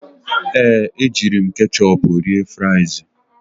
Ee, ejiri m ketchịupụ rie frịsị.